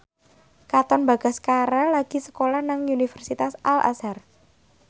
Katon Bagaskara lagi sekolah nang Universitas Al Azhar